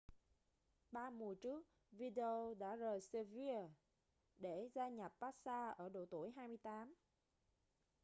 ba mùa trước vidal đã rời sevilla để gia nhập barca ở độ tuổi 28